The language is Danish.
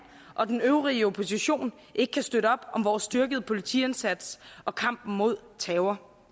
og den øvrige opposition ikke kan støtte op om vores styrkede politiindsats og kampen mod terror